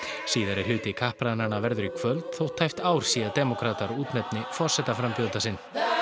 síðari hluti kappræðnanna verður í kvöld þótt tæpt ár sé í að demókratar útnefni forsetaframbjóðanda sinn